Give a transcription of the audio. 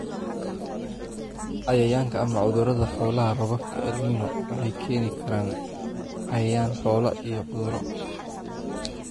"Cayayaanka / Cudurada Xoolaha Roobabka El Nino waxay keeni karaan cayayaan xoolaha & cudurro.